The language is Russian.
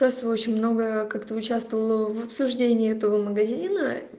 просто очень много как то участвовала в обсуждении этого магазина